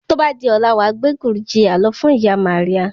Tó bá di ọ̀la, wàá gbé Gurjiya lọ fún ìyá Maria